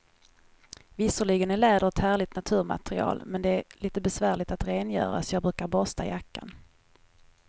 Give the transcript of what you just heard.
Visserligen är läder ett härligt naturmaterial, men det är lite besvärligt att rengöra, så jag brukar borsta jackan.